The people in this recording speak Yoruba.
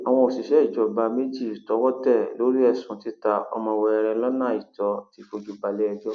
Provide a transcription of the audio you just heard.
àwọn òṣìṣẹ ìjọba méjì tọwọ tẹ lórí ẹsùn títa ọmọ wẹrẹ lọnà àìtọ ti fojú balẹẹjọ